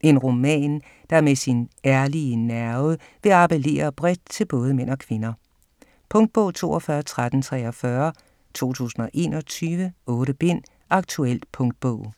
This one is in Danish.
En roman, der med sin ærlige nerve vil appellere bredt til både mænd og kvinder. Punktbog 421343 2021. 8 bind. Aktuel punktbog